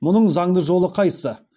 мұның заңды жолы қайсы